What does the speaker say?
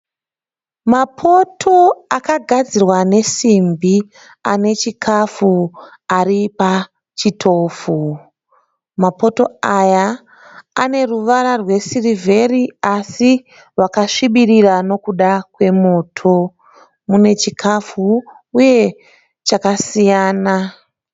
Mapoto akagadzirwa nesimbi ane chikafu ari pachitofu. Mapoto aya ane ruvara rwesirivheri asi rwakasvibirira nokuda kwemoto. Mune chikafu uye chakasiyana.